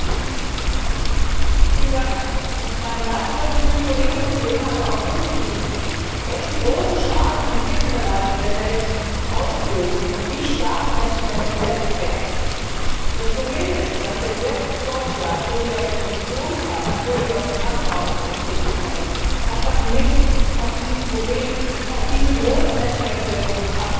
Herr Präsident! Kommissarin Malmström und viele Kolleginnen und Kollegen haben darauf hingewiesen, welchen großen Schaden Konfliktmineralien in der Welt auslösen und wie stark Menschenrechte verletzt werden. Das Problem ist, dass der Gesetzesvorschlag, so wie er aus der Kommission kam und so wie er aus dem Handelsausschuss gekommen ist, einfach nicht zu diesem Problem, zu diesen schweren Menschenrechtsverletzungen passt.